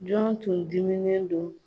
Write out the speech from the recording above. Jɔn tun diminen don ?